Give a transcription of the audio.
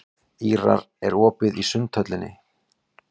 Ýrar, er opið í Sundhöllinni?